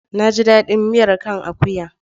Na ji daɗin miya kan akuya.